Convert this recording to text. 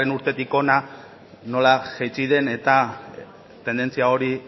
urtetik hona nola jaitsi den eta tendentzia hori